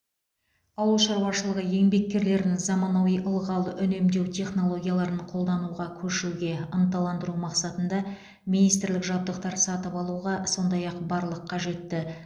ауыл шаруашылығы еңбеккерлерін заманауи ылғал үнемдеу технологияларын қолдануға көшуге ынталандыру мақсатында министрлік жабдықтар сатып алуға сондай ақ барлық қажетті